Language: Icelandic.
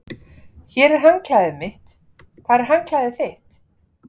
Hér er handklæðið mitt. Hvar er handklæðið þitt?